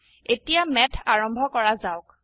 এতিয়া ম্যাথ আৰম্ভ কৰা যাওক